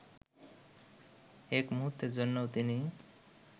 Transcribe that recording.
এক মূহুর্তের জন্যও তিনি